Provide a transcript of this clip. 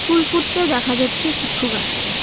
ফুল ফুটতে দেখা যাচ্ছে কিছু গাছে।